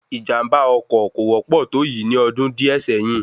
Ìjàm̀bá ọkọ̀ kò wọ́pọ̀ tó yìí ní ọdún díè sẹ́yìn